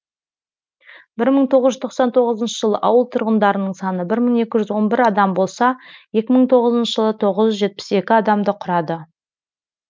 бір мың тоғыз жүз тоқсан тоғызыншы жылы ауыл тұрғындарының саны бір мың екі жүз он бір адам болса екі мың тоғызыншы жылы тоғыз жүз жетпіс екі адамды құрады